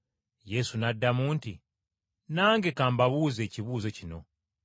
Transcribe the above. Yesu n’addamu nti, “Nange ka mbabuuze ekibuuzo kino.